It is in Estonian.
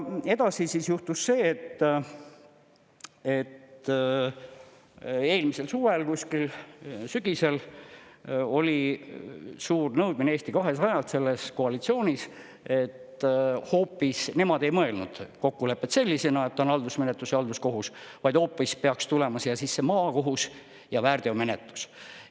Edasi siis juhtus see, et eelmisel suvel või kuskil sügisel oli suur nõudmine Eesti 200-s, selles koalitsioonis, et hoopis nemad ei mõelnud kokkulepet sellisena, et ta on haldusmenetlus ja halduskohus, vaid hoopis peaks tulema siia sisse maakohus ja väärteomenetlus.